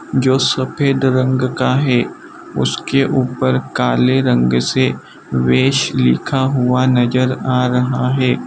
जो सफेद रंग का है उसके ऊपर काले रंग से वेश लिखा हुआ नजर आ रहा है।